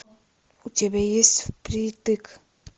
у тебя есть впритык